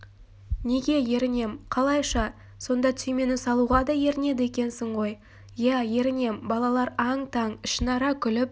неге ерінем қалайша сонда түймені салуға да ерінеді екенсің ғой ия ерінем балалар аң-таң ішінара күліп